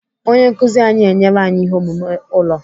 Onye nkụzi anyị enyela anyị ihe omume ụlọ.